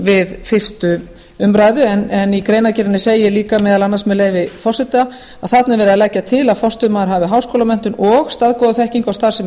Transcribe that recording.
við fyrstu umræðu en í greinargerðinni segir líka meðal annars með leyfi forseta þarna er verið að leggja til að forstöðumaður hafi háskólamenntun og staðgóða þekkingu á starfsemi